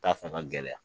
T'a fɛ ka gɛlɛya